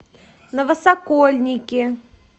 новосокольники